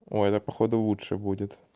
ой да походу лучше будет